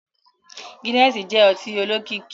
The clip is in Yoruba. Gínẹ̀ẹ̀sí jẹ́ ọtí olókìkí